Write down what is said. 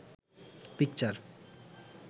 picture